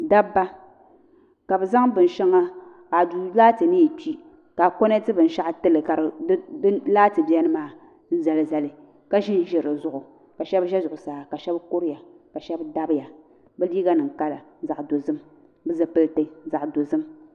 Dabba ka bɛ zaŋ binsheŋa aduu laati niyi kpi ka a koneti binshaɣu tili ka di laati biɛni maa n zali zali ka ƶinʒi dizuɣu ka sheba ʒɛ zuɣusaa ka sheba kuriya ka sheba dabiya bɛ liiga nima kala zaɣa dozim bɛ zipilti zaɣa dozim.